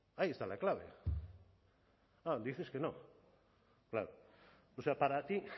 ahí está la clave claro dices que no claro para ti